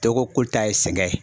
Dɔ ko k'olu ta ye sɛgɛn ye.